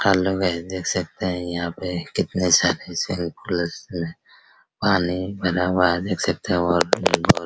hello guys देख सकते हैं यहाँ पे कितने सारे हैं पानी भरा हुआ है देखे सकते है वहाँ पे भी बहुत --